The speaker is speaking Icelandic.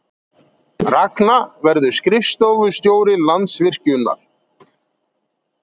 Ragna verður skrifstofustjóri Landsvirkjunar